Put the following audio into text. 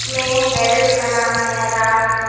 इसमें गैरेज का नाम है राज--